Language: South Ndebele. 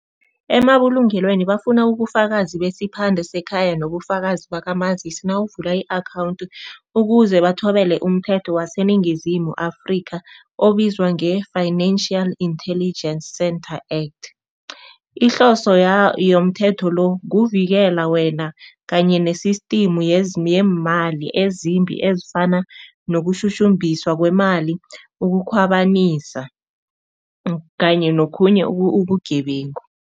Emabulungelweni bafuna ubufakazi besiphande sekhaya nobufakazi bakamazisi nawuvula i-akhawundi ukuze bathobele umthetho waseNingizimu Afrika obizwa nge-Financial Intelligence Center Act. Ihloso yomthetho lo, kuvikela wena kanye ne-system yeemali ezimbi ezifana nokushushumbiswa kwemali, ukukhwabanisa kanye nokhunye ubugebengu.